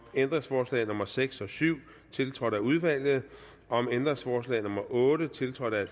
ændringsforslag nummer seks og syv tiltrådt af udvalget om ændringsforslag nummer otte tiltrådt af